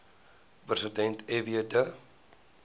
president fw de